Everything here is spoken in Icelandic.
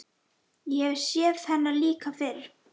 Ég hef séð hennar líka fyrr.